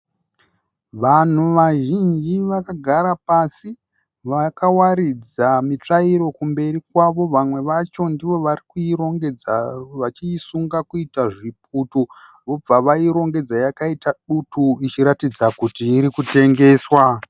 Vanhu vazhinji vakagara pasi. Vakawaridza mitsvairo kumberi kwavo, vamwe vacho ndivo vari kuirongedza vachiisunga kuita zviputu, vobva vairongedza yakaita dutu ichiratidza kuti iri kutengeswa.